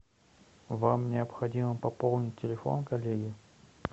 вам необходимо пополнить телефон коллеги